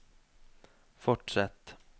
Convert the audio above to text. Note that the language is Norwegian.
fortsett